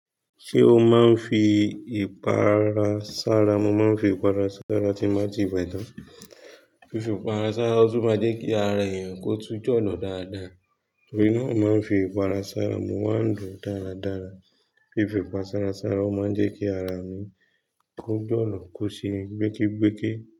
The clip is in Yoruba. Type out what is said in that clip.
Ṣé o máa ń fi ìpara sára? Mo máa ń fi ìpara sára tí mo bá ti wẹ tán. Fífì ìpara sára ó tún máa jẹ́ kí ara èèyàn kó tún jọ̀lo dáadáa. Torí náà mo máa ń fi ìpara sára. Mo máa ń dùn dáradára. Fífì ìpara sára ó máa ń jẹ́ kí ara mi kó jọ̀nà kó ṣe gbéke gbẹ́ke.